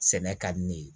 Sɛnɛ ka di ne ye